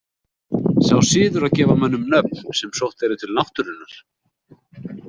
Sá siður að gefa mönnum nöfn sem sótt eru til náttúrunnar.